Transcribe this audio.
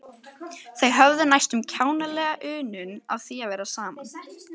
Þau höfðu næstum kjánalega unun af því að vera saman.